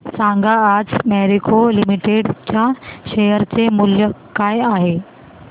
सांगा आज Marico limited च्या शेअर चे मूल्य काय आहे